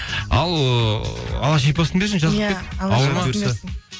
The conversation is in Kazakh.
ал ыыы алла шипасын берсін жазылып кет